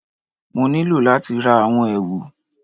Mo nílò láti ra àwọn èwù